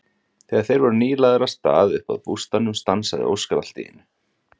Þegar þeir voru nýlagðir af stað upp að bústaðnum stansaði Óskar allt í einu.